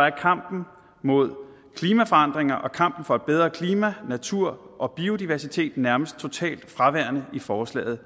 er kampen mod klimaforandringer og kampen for et bedre klima natur og biodiversitet nærmest totalt fraværende i forslaget